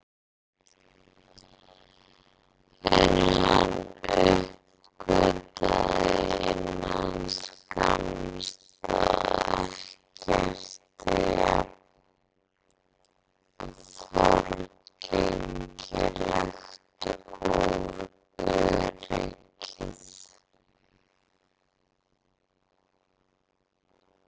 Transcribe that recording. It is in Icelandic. En hann uppgötvaði innan skamms að ekkert er jafn forgengilegt og öryggið.